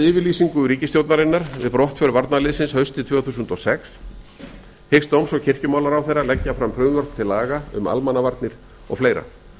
yfirlýsingu ríkisstjórnarinnar við brottför varnarliðsins haustið tvö þúsund og sex hyggst dóms og krijkumálaráherra leggja fram frumvörp til laga um almannavarnir og fleiri